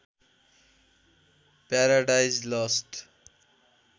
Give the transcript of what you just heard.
paradise lost